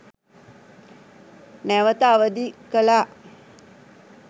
නැවත අවධි කලා